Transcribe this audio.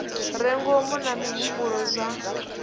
re ngomu na mihumbulo zwa